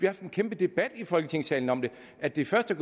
haft en kæmpe debat i folketingssalen om det at det først er